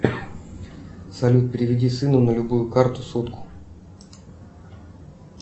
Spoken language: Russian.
салют переведи сыну на любую карту сотку